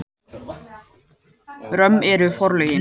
Römm eru forlögin.